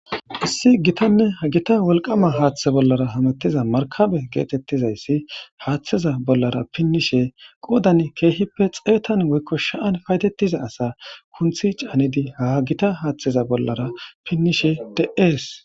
Issi gittanne ha giitta wolqqama haaththe bollara hamutiza marikabe gettetizayssi haaththaza bollara pinnishshe qooddan keehippe xeetan woykko sa'an payidettiza asa kunththi caanidi ha giitta haaththeza bollara pinnishshe de'es